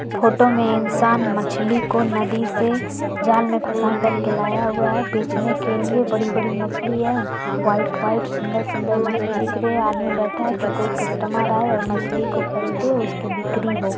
Photo में इंसान मछली को नदी से जाल में फसा कर के लाया हुआ है बेचने के लिए बड़ी-बड़ी मछली है वाइट वाइट सुंदर-सुंदर मछली दिख रही है। आदमी बैठा है कि कोई कस्टमर आए और मछली को खरीदे और उसकी बिक्री हो।